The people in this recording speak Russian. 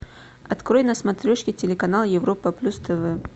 открой на смотрешке телеканал европа плюс тв